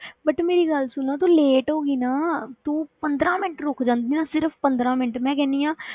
But ਮੇਰੀ ਗੱਲ ਸੁਣ ਤੂੰ late ਹੋ ਗਈ ਨਾ, ਤੂੰ ਪੰਦਰਾਂ ਮਿੰਟ ਰੁੱਕ ਜਾਂਦੀ ਨਾ, ਸਿਰਫ਼ ਪੰਦਰਾਂ ਮਿੰਟ ਮੈਂ ਕਹਿੰਦੀ ਹਾਂ